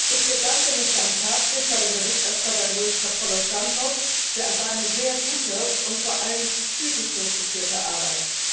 Ich bedanke mich ganz herzlich bei dem Berichterstatter Luis Capoulas Santos für seine sehr gute und vor allem zügig durchgeführte Arbeit.